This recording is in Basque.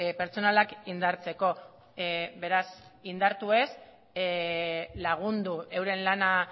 pertsonalak indartzeko beraz indartu ez lagundu euren lana